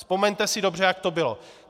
Vzpomeňte si dobře, jak to bylo.